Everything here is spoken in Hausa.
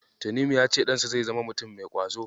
Tanimu ya ce ɗansa zai zama mutum mai ƙwazo.